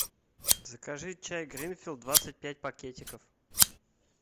закажи чай гринфилд двадцать пять пакетиков